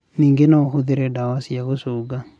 Ningĩ no ũhũthĩre ndawa cia gũcũnga.